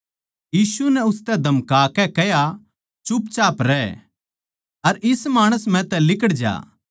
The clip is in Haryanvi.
यीशु नै उसतै धमकाकै कह्या बोलबाल्ली रहै अर इस माणस म्ह तै लिकड़ जा